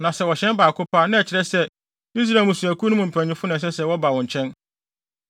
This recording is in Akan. Na sɛ wɔhyɛn baako pɛ a, na ɛkyerɛ sɛ Israel mmusua no mu mpanyimfo na ɛsɛ sɛ wɔba wo nkyɛn.